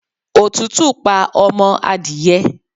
Òtútù pa ọmọ adìye